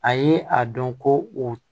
A ye a dɔn ko o